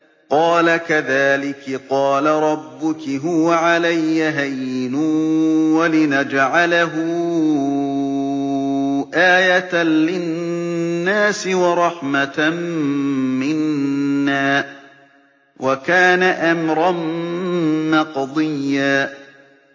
قَالَ كَذَٰلِكِ قَالَ رَبُّكِ هُوَ عَلَيَّ هَيِّنٌ ۖ وَلِنَجْعَلَهُ آيَةً لِّلنَّاسِ وَرَحْمَةً مِّنَّا ۚ وَكَانَ أَمْرًا مَّقْضِيًّا